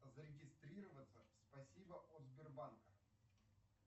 зарегестрироваться в спасибо от сбербанка